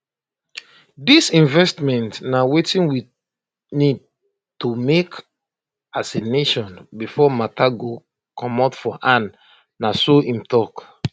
dis investment na wetin we need to make as a nation before matter go comot for hand na so im tok